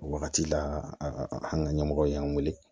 O wagati la an ka ɲɛmɔgɔ y'an weele